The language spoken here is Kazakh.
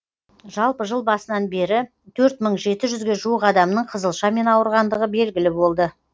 жалпы жыл басынан бері төрт мың жеті жүзге жуық адамның қызылшамен ауырғандығы белгілі болды